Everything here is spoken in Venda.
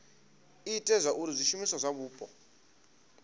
ite zwauri zwishumiswa zwa mupo